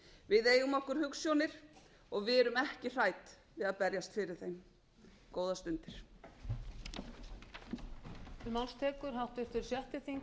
við eigum okkur hugsjónir og við erum ekki hrædd við að berjast fyrir þeim góðar stundir ræða eyglóar í fyrri spólu